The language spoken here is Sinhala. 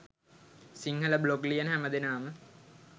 සිංහල බ්ලොග් ලියන හැම දෙනාම